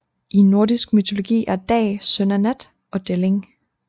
I nordisk mytologi er Dag søn af Nat og Delling